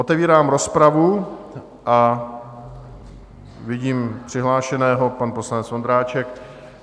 Otevírám rozpravu a vidím přihlášeného - pan poslanec Vondráček.